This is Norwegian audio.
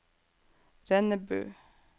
Rennebu